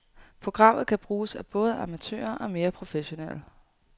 Programmet kan bruges af både amatører og mere professionelle.